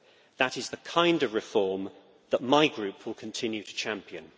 That is the kind of reform that my Group will continue to champion.